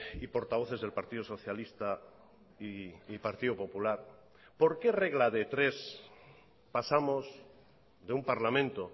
y portavoces del partido socialista y partido popular por qué regla de tres pasamos de un parlamento